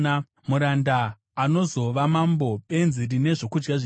muranda anozova mambo, benzi rine zvokudya zvizhinji,